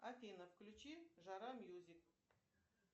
афина включи жара мьюзик